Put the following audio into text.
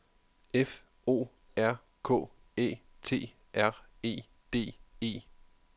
F O R K Æ T R E D E